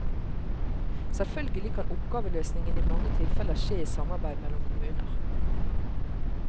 Selvfølgelig kan oppgaveløsningen i mange tilfeller skje i samarbeid mellom kommuner.